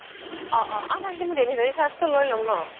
অ অ আৰু নহয় মই delivery charge তো লই লম ন